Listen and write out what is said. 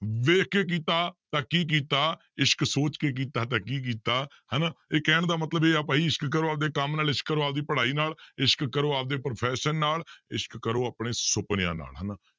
ਵੇਖ ਕੇ ਕੀਤਾ ਤਾਂਂ ਕੀ ਕੀਤਾ ਇਸ਼ਕ ਸੋਚ ਕੇ ਕੀਤਾ ਤਾਂ ਕੀ ਕੀਤਾ, ਹਨਾ ਇਹ ਕਹਿਣ ਦਾ ਮਤਲਬ ਇਹ ਆ ਭਾਈ ਇਸ਼ਕ ਕਰੋ ਆਪਦੇ ਕੰਮ ਨਾਲ ਇਸ਼ਕ ਕਰੋ ਆਪਦੀ ਪੜ੍ਹਾਈ ਨਾਲ ਇਸ਼ਕ ਕਰੋ ਆਪਦੇ profession ਨਾਲ ਇਸ਼ਕ ਕਰੋ ਆਪਣੇ ਸੁਪਨਿਆਂ ਨਾਲ ਹਨਾ।